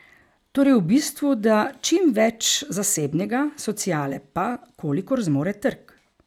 Torej v bistvu, da, čim več zasebnega, sociale pa, kolikor zmore trg.